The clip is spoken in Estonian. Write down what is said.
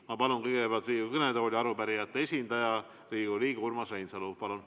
Ma palun kõigepealt Riigikogu kõnetooli arupärijate esindaja, Riigikogu liikme Urmas Reinsalu!